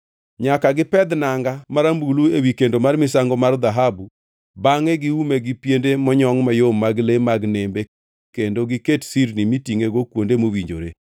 “Nyaka gipedh nanga marambulu ewi kendo mar misango mar dhahabu bangʼe giume gi piende monyongʼ mayom mag le mag nembe kendo giket sirni mitingʼego kuonde mowinjore.